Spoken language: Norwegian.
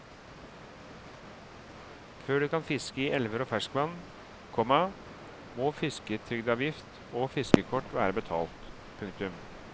Før du kan fiske i elver og ferskvann, komma må fisketrygdavgift og fiskekort være betalt. punktum